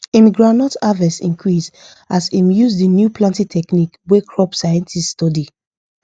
him groundnut harvest increase as him use the new planting technique wey crop scientist study